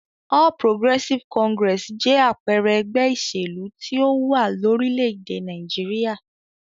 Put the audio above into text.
All Progressive Congress jẹ́ àpẹẹrẹ ẹgbẹ́ ìṣèlú tí ó wà lórílẹ̀-èdè Nàìjíríà.